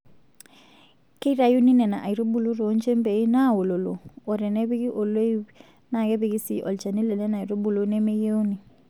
Keitayuni Nena aitubulu too nchembei naaololo o tenepiki oloip naa kepiki sii olchani Lenena aitubulu nemeyieuni.